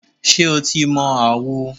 Ṣé o ti mọ àwo?